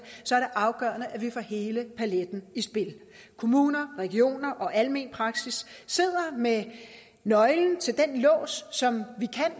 afgørende at vi får hele paletten i spil kommuner regioner og almen praksis sidder med nøglen til den lås som vi